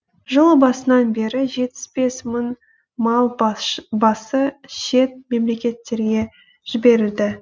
жыл басынан бері жетпіс бес мың мал басы шет мемлекеттерге жіберілді